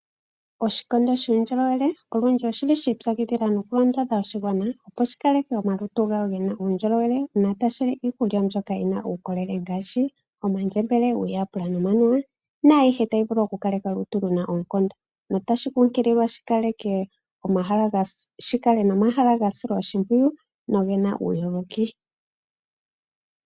Oshikondo shuundjolowele olundji oshili shi ipyakidhila noku londodha oshigwana, opo shi kaleke omalutu gawo gena uundjolowele notashi li iikulya mbyoka yina uukolele ngaashi omandjembele, uuyaapula nomanuwa naayihe tayi vulu oku kaleka omalutu gena oonkondo notashi kunkililwa shi kale nomahala ga silwa oshimpwiyu noge na uuyogoki.